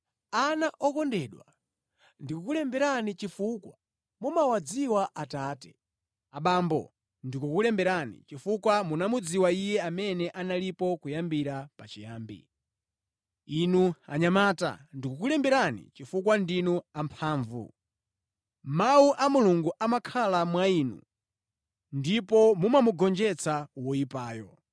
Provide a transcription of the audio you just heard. Ana okondedwa, ndikukulemberani chifukwa mumawadziwa Atate. Abambo, ndikukulemberani chifukwa munamudziwa Iye amene analipo kuyambira pachiyambi. Inu anyamata, ndikukulemberani chifukwa ndinu amphamvu. Mawu a Mulungu amakhala mwa inu ndipo mumamugonjetsa woyipayo.